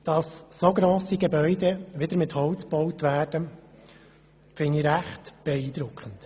Dass so grosse Gebäude wieder mit Holz gebaut werden, finde ich recht beeindruckend.